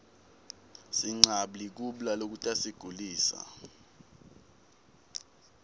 sinqabli kubla lokutasigulisa